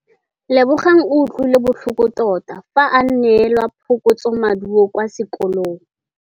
Lebogang o utlwile botlhoko tota fa a neelwa phokotsômaduô kwa sekolong.